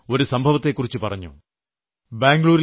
അവർ എന്നോട് ഒരു സംഭവത്തെക്കുറിച്ച് പറഞ്ഞു